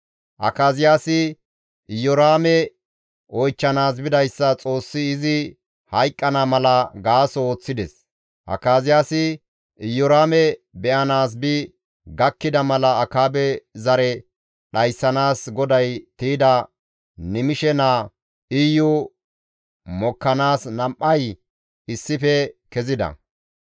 Akaziyaasi Iyoraame oychchanaas bidayssa Xoossi izi hayqqana mala gaaso ooththides; Akaziyaasi Iyoraame be7anaas bi gakkida mala Akaabe zare dhayssanaas GODAY tiyda Nimishe naa Iyo mokkanaas nam7ay issife kezida.